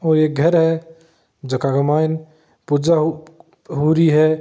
ओ एक घर है झका के माईन पूजा हो रही है।